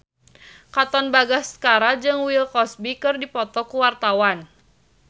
Katon Bagaskara jeung Bill Cosby keur dipoto ku wartawan